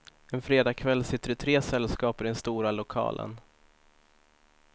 En fredag kväll sitter det tre sällskap i den stora lokalen.